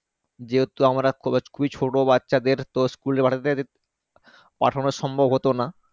যেহাটু আমরা খুব ছোট বাচ্চাদের তো school পাঠাতে পাঠানো সম্ভব হত না।